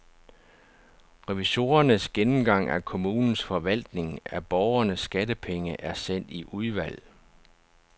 Revisorernes gennemgang af kommunens forvaltning af borgernes skattepenge er sendt i udvalg.